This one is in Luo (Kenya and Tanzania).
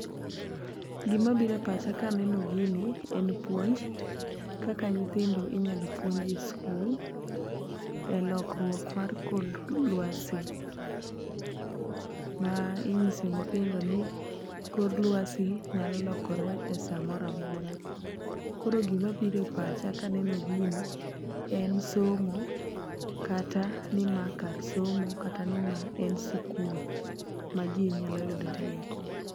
Gima bire pacha kaneno gini en puonj, kaka nyithindo inyalo puonji e skul, e lokruok mar kor lwasi ma inyiso nyithindo ni kor lwasi nyalo lokore e samoramora . Koro gimabire pacha kaneno gini en somo kata ni ma kar somo kata ni ma en sikul ma jii nyalo yude rieko.